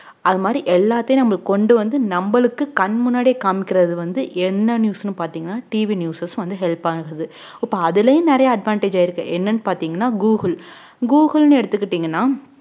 அது மாதிரி எல்லாத்தையும் நம்மளுக்கு கொண்டு வந்து நம்மளுக்கு கண் முன்னாடியே காமிக்கிறது வந்து என்ன news ன்னு பார்த்தீங்கன்னா TVnewsers வந்து help ஆகுது இப்ப அதுலயும் நிறைய advantage ஆயிருக்கு என்னன்னு பார்த்தீங்கன்னா google google ன்னு எடுத்துக்கிட்டீங்கன்னா